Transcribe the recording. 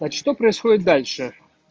что происходит дальше